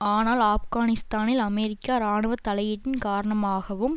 ஆனால் ஆப்கானிஸ்தானில் அமெரிக்க இராணுவ தலையீட்டின் காரணமாகவும்